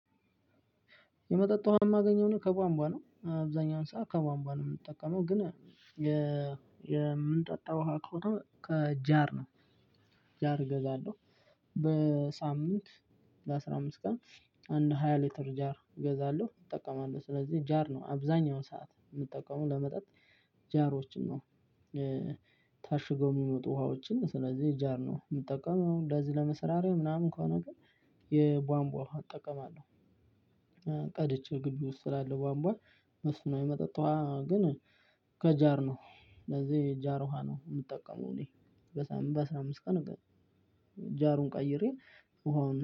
የመጠጥ ውሃ የማገኘው እኔ ከቧንቧ ነው አብዛኛው ሰዓት ከቧንቧ ነው የምንጠቀመው ግን የምንጠጣው ውሃ ከሆነ ከጃር ነው። ጃር እገዛለሁ። በሳምንት በአስራ አምስት ቀን አንድ ሃያ ሊትር ጃር እገዛለሁ እጠቀማለሁ ስለዚህ ጃር ነው አብዛኛውን ሰዓት የምጠቀመው ለመጠጥ ጃሮችን ነው። ታሽገው የሚመጡ ውሃዎችን ስለዚህ ጃር ነው የምጠቀመው እንደዚህ ለመሰራራት ምናምን ከሆነ ግን የቧንቧ ውሃ እጠቀማለሁ። ቀድቼ ግቢ ውስጥ ስላለ ቧንቧ መስማዊ የመጠጥ ውሃ ግን ከጃር ነው። ለዚህ ጃር ውሃ ነው የምጠቀመው እኔ በሳምንት በአስራ አምስት ቀን ጃሩን ቀይሬ ውሃውን